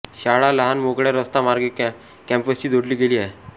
शाळा लहान मोकळ्या रस्ता मार्गे कॅम्पसशी जोडली गेली आहे